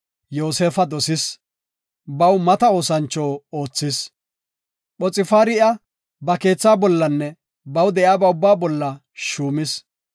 Yoosefa dosis, baw mata oosancho oothis. Phoxfaari iya ba keetha bollanne baw de7iyaba ubbaa bolla shuumis.